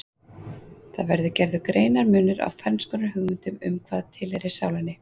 Þá verður gerður greinarmunur á ferns konar hugmyndum um hvað tilheyrir sálinni.